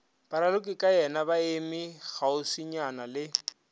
baralokikayena ba eme kgauswinyana le